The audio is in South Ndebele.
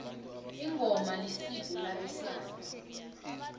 ingoma yisiko labe sana